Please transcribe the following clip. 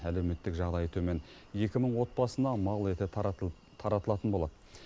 әлеуметтік жағдайы төмен екі мың отбасына мал еті таратып таратылатын болады